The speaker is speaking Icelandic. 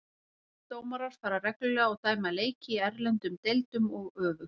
Íslenskir dómarar fara reglulega og dæma leiki í erlendum deildum og öfugt.